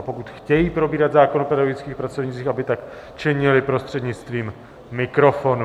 A pokud chtějí probírat zákon o pedagogických pracovnících, aby tak činili prostřednictvím mikrofonu.